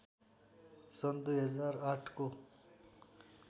सन् २००८ को